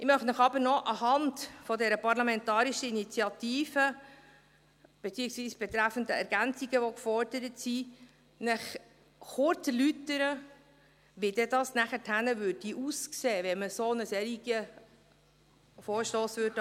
Ich möchte Ihnen aber noch anhand dieser Parlamentarischen Initiative , beziehungsweise betreffend die Ergänzungen, die gefordert werden, kurz erläutern, wie es nachher aussähe, wenn man einen solchen Vorstoss annähme.